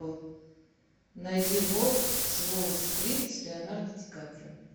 найди волк с уолл стрит с леонардо ди каприо